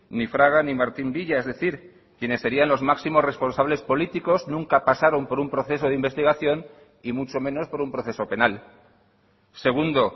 ni fraga ni martín villa es decir quienes serían los máximos responsables políticos nunca pasaron por un proceso de investigación y mucho menos por un proceso penal segundo